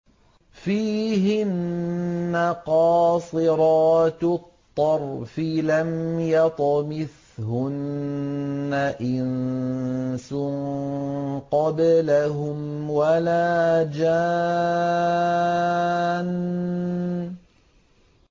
فِيهِنَّ قَاصِرَاتُ الطَّرْفِ لَمْ يَطْمِثْهُنَّ إِنسٌ قَبْلَهُمْ وَلَا جَانٌّ